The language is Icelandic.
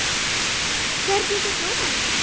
Hvernig sá dómarinn þetta?